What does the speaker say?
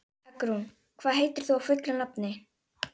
Eggrún, hvað heitir þú fullu nafni?